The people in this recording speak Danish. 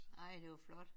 Ej det var flot